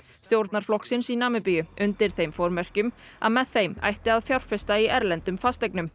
stjórnarflokksins í Namibíu undir þeim formerkjum að með þeim ætti að fjárfesta í erlendum fasteignum